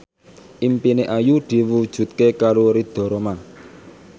impine Ayu diwujudke karo Ridho Roma